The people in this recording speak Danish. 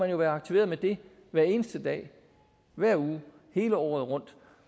jo være aktiveret med det hver eneste dag hver uge hele året rundt